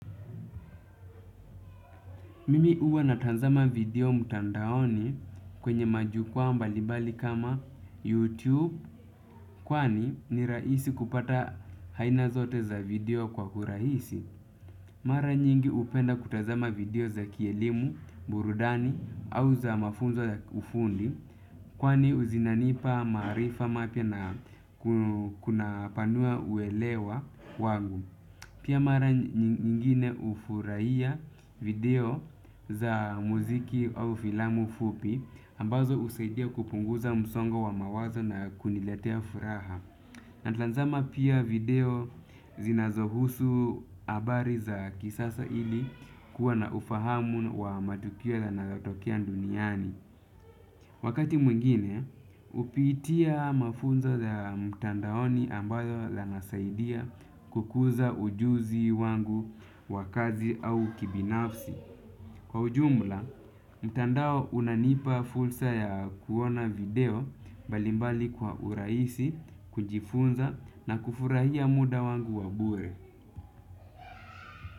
Mimi uwa natanzama video mtandaoni kwenye majukwaa mbali bali kama YouTube kwani ni raisi kupata haina zote za video kwa uraisi. Mara nyingi upenda kutazama video za kielimu, burudani au za mafunzo za ufundi kwani zinanipa maarifa mapya na kunapanua uelewa wagu. Pia mara nyingine ufurahia video za muziki au filamu fupi ambazo usaidia kupunguza msongo wa mawazo na kuniletea furaha. Na tanzama pia video zinazohusu abari za kisasa ili kuwa na ufahamu wa matukio yanayotokea duniani. Wakati mwingine, hupitia mafunzo za mtandaoni ambayo yanasaidia kukuza ujuzi wangu wa kazi au kibinafsi. Kwa ujumla, mtandao unanipa fulsa ya kuona video balimbali kwa uraisi kunjifunza na kufurahia muda wangu wa bure.